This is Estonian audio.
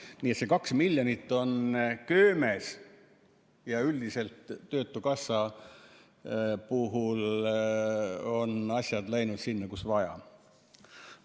Nii et see 2 miljonit on köömes ja üldiselt töötukassa puhul on asjad läinud sinna, kuhu vaja.